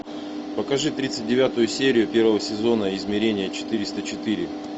покажи тридцать девятую серию первого сезона измерение четыреста четыре